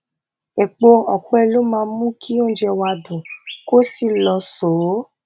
epo ọpẹ ló máa mú kí oúnjẹ wa dùn kó sì lóṣòó